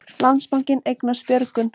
Landsbankinn eignast Björgun